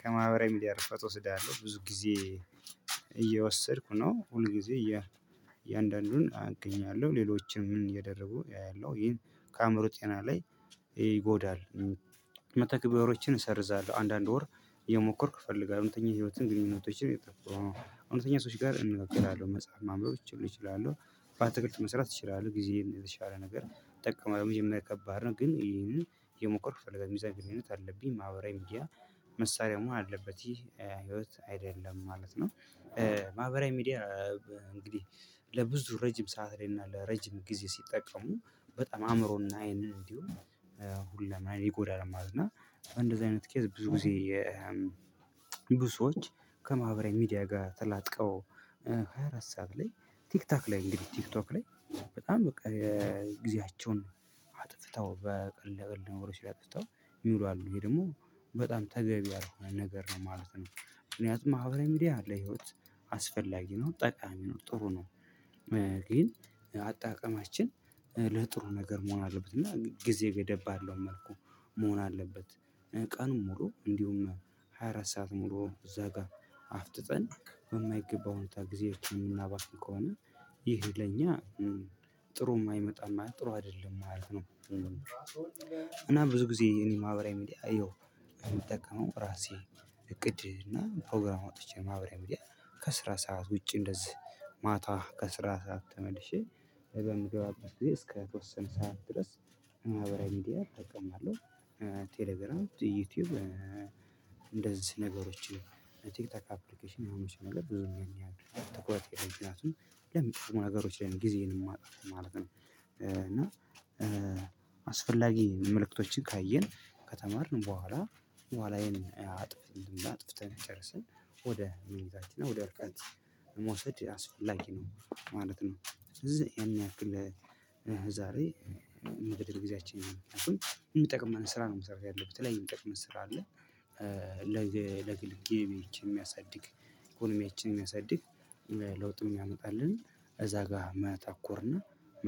ከማህበራዊ ሚዲያ እረፍት ወስዳለሁ ብዙ ጊዜ እየወሰድኩ ነው ሁል ጊዜ እያንዳንዱን አገኛለሁ ሌሎችንም እየደረጉ ያያለሁ ይሄም ከአእምሮ ጤና ላይ ይጎዳል። መተግበሮችን እሰርዛለሁ። አንዳንድ ወር እየሞከርኩ እፈልጋለሁ እውነተኛ ህይወትን ግንኙነቶችን እውነተኛ ሰዎች ጋር እንበክላለን መጽሐፍ ማንበቦች እችላለሁ። በአትክልት መስራት እችላለሁ ጊዜ ለተሻለ ነገር እጠቀማለሁ ለመጀመሪያ ከባድ ነው። ግን ይሄንን የሞከርኩ ፈለገ ሚዛን ግንኙነት አለብኝ ማህበራዊ መዲያ መሳሪያሙ አለበት ይህ ህይወት አይደለም ማለት ነው። ማህበራዊ ሚዲያ እንግዲህ ለብዙ ረጅም ሰዓት ላይ እና ለረጅም ጊዜ ሲጠቀሙ በጣም አእምሮና ይሄንን እንዲሁም ሁሉም አይን ይጎዳል ማለት ነው። እንደዚህ አይነት ቄስ ብዙ ጊዜ። ብዙ ሰዎች ከማህበራዊ ሚዲያ ጋር ተላጥቀው ሃያ አራት ሰዓት ላይ ቲክቶክ ላይ እንግዲህ ቲክቶክ ላይ በጣም በቃ ጊዜያቸውን በቀልድለቀልድ ነገሮች ላይ አጥፍተው የሚውሉ አሉ ወይ ደግሞ በጣም ተገቢ ያልሆነ ነገር ነው ማለት ነው። ምክንያቱም ማህበራዊ ሚዲያ ለህይወት አስፈላጊ ነው ጠቃሚ ነው ጥሩ ነው። ግን አጠቃቀማችን ለጥሩ ነገር መሆን አለበት እና ጊዜ ገደብ ባለው መልኩ መሆን አለበት። ቀን ሙሉ እንዲሁም ሃያ አራት ሰዓት ሙሉ እዛ ጋር አፍጥጠን በማይገባው ሁኔታ ጊዜዎችን የምናባክን ከሆነ ይሄ ለኛ ጥሩ የማይመጣም ጥሩ አይደለም ማለት ነው። እና ብዙ ጊዜ እኔ ማህበራዊ ሚዲያ አየሁ የምጠቀመው ራሴ እቅድ እና ፕሮግራም አወጥቼ ማህበራዊ ሚዲያ ከስራ ሰዓት ውጪ እንደዚህ ማታ ከስራ ሰዓት ተመልሼ በምገባበት ግዜ እስከ ተወሰን ሰዓት ድረስ ማህበራዊ ሚዲያ እጠቅማለሁ። ቴሌግራም ዩቲዩብ እንደዚህ ነገሮችን ቲክቶክ አፕሊኬሽን የሆኑት ሰዎች ብዙ ነገር ያሉ ትኩረት ምክንያቱም ለምጠቅሙ ነገሮች ላይ ጊዜን ማጠፋው ማለት ነው። እና አስፈላጊ መልእክቶችን ካየን ከተማርን በኋላ በኋላዬን አጥፍ እንዳጥፍ ተነጨርሰን ወደ ምኝታችን እና ወደ መውሰድ አስፈላጊ ነው ማለት ነው። እዚህ ያን ያህል ለዛሬ የምትደርግ ጊዜያችን ነው። የሚጠቅመን ስራ ነው መስራት ያለብን በተለይ የሚጠቅመን ስራ አለ። ለግል ገበያችን የሚያሳድግ ኢኮኖሚያችን የሚያሳድግ ለውጡን ያመጣልን እዛ ጋር መተኮርና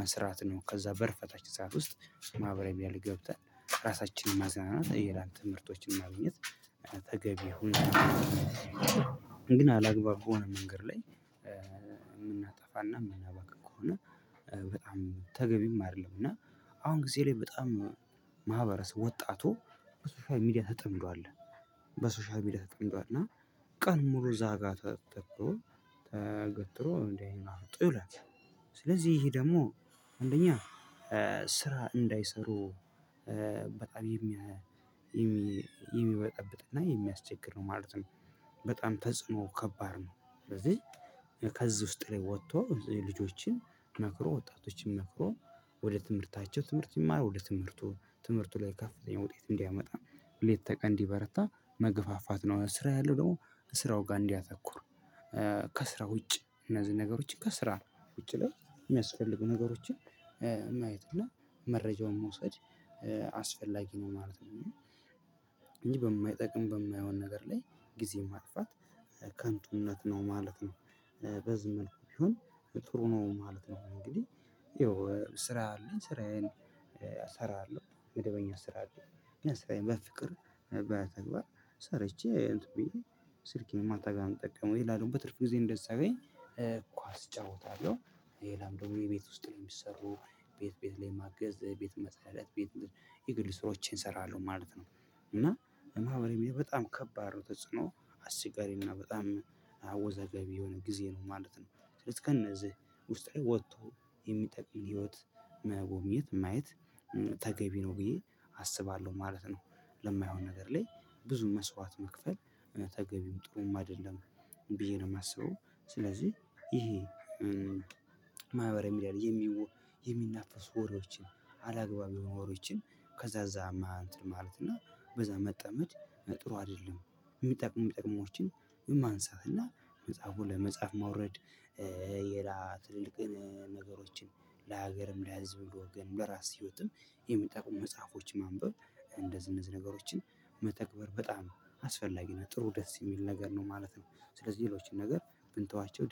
መስራት ነው። ከዛ በር ፈታች እዛ ውስጥ ማህበራዊ ያለ ገብተን ራሳችንን ማዘናናት የላንተ ትምህርቶችን ማግኘት ተገቢ ሁሉ። ግን አላግባብ ከሆነ መንገድ ላይ የምናጠፋ እና የምናባክን ከሆነ በጣም ተገቢም አይደለም። እና አሁን ጊዜ ላይ በጣም ማህበረሰብ ወጣቱ በሶሻል ሚዲያ ተጠምዷል በሶሻል ሚዲያ ተጠምዷል እና ቀን ሙሉ እዛጋ ተገትሮ ተገትሮ እንድ አይኑን አፍጦ ይውላል። ስለዚህ ይሄ ደግሞ አንደኛ ስራ እንዳይሰሩ በጣም የሚያየ የሚበጠብጥ እና የሚያስቸግር ነው ማለት ነው። በጣም ተጽዕኖ ከባድ ነው። ስለዚህ ከዚህ ውስጥ ጥሬ ወጥቶ ልጆችን መክሮ ወጣቶችን መክሮ ወደ ትምህርታቸው ትምህርት ይማር ወደ ትምህርቱ ትምህርቱ ላይ ከፍተኛ ውጤት እንዲያመጣ ሁሌ ሌት ከቀን እንዲ በረታ መገፋፋት ነው። ስራ ያለው ደግሞ ስራው ጋር እንዲያተኩር። ከስራ ውጭ እነዚህ ነገሮችን ከስራ ውጭ ላይ የሚያስፈልጉ ነገሮችን ማየት እና መረጃውን መውሰድ አስፈላጊ ነው ማለት ነው። እንጂ በማይጠቅም በማይሆን ነገር ላይ ጊዜ ማጥፋት ከንቱነት ነው ማለት ነው። በዚህ መልኩ ቢሆን ጥሩ ነው ማለት ነው። እንግዲህ ይኸው ስራ አለኝ ስራዬን እሰራለሁ መደበኛ ስራ አለኝ ስራዬን በፍቅር በተግባር ሰርቼ እንትን ብዬ ስልኬን ማታጋ ነው እምጠቀመው ይላል በትርፍ ጊዜ እንደዛ ሳገኝ ኳስ እጫወታለሁ። ሌላም ደግሞ የቤት ውስጥ ላይ የሚሰሩ ቤት ቤት ላይ ማገዝ ቤት መስራት ቤት የግል ስራዎቼን እሰራለሁ ማለት ነው። እና ማህበራዊ ሚዲያ በጣም ከባድ ነው ተጽዕኖ አስቸጋሪ እና በጣም አወዘገቢ የሆነ ጊዜ ነው ማለት ነው። ስለዚህ ከነዚህ ውስጥ ላይ ወጥቶ የሚጠቅም ህይወት መጎብኘት ማየት ተገቢ ነው ብዬ አስባለሁ ማለት ነው። ለማይሆን ነገር ላይ ብዙ መስዋዕት መክፈል እውነት ተገቢም ጥሩም አይደለም ብዬ ነው የማስበው። ስለዚህ ይሄ ማህበራዊ ሚዲያ የሚናፈሱ ወሬዎችን አላግባብ የሆኑ ውሬዎችን ከዛ እዛ ማንተር ማለት እና በዛ መጠመድ ጥሩ አይደለም። የሚጠቅሙ የሚጠቅሙ ወጎችን ማንሳት እና መጽሐፉን ለመጻፍ ማውረድ። ትልልቅን ነገሮችን ለሀገርም ለሀዝብም ለወገንም ለራስ ህይወትም የሚጠቁሙ መጽሐፎች ማንበብ እንደነዚ እነዚ ነገሮችን መተግበር በጣም አስፈላጊ ነው ጥሩ ደስ የሚል ነገር ነው ማለት ነው። ስለዚህ ሌሎችን ነገር ብንተዋቸው